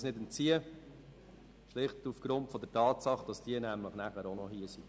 Dieser können wir uns nicht entziehen, schlicht aufgrund der Tatsache, dass die UMA nämlich hier sind.